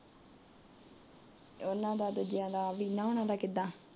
ਇਹਨਾਂ ਦਾ ਦੂਜਿਆਂ ਦਾ ਆਪਣੀ ਨੂੰਹ ਹਰਾ ਦਾ ਕਿਦਾਂ।